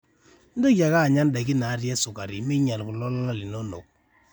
mintoki ake anya ndaiki natii esukari meinyal kulo lala linono